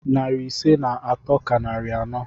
Narị ise na atọ ka narị anọ.